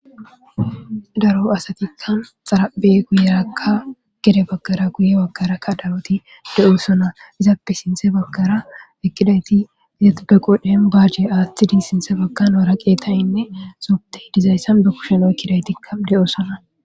Daro asatikka xarabe guyerakka gede baggara guye waggarakka daroti de7o sona izaappe sinthe baggara ekkidayti yetbeqoden baaje aaththidi sinthe bagkanoara qeetayinne sobte dizayssan be kusheno ekkidaytikka de'o sona